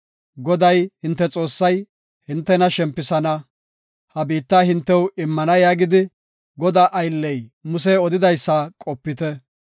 “Goday, hinte Xoossay, hintena shempisana, ha biittaa hintew immana yaagidi, Godaa aylley Musey odidaysa qopite.